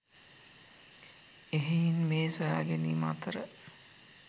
එහෙයින් මේ සොයාගැනීම් අතර